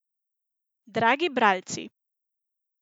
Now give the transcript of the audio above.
Dragi bralci!